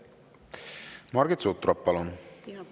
Margit Sutrop, palun!